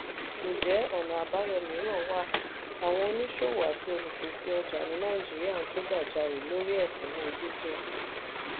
njẹ́ ọ̀nà àbáyọ mìíràn wà? àwọn oníṣòwò àti olùpèsè ọjà ní nàìjíríà ń ké gbájárè lórí ẹkúnwó díìsẹ̀l.